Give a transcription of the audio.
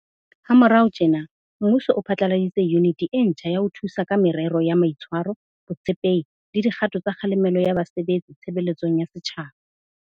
Ha morao tjena, mmuso o phatlaladitse Yuniti e ntjha ya ho Thusa ka Merero ya Mai tshwaro, Botshepehi le Di kgato tsa Kgalemelo ya Ba sebetsi Tshebeletsong ya Setjhaba.